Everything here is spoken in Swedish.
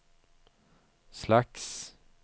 slags